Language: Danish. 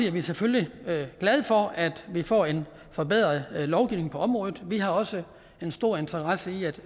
er vi selvfølgelig glade for at vi får en forbedret lovgivning på området vi har også en stor interesse i at